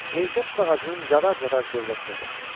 Mirzə tut ağacının cadar-cadar gövdəsinə baxdı.